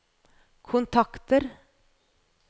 kontakter